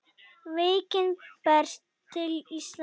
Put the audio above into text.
Veikin berst til Íslands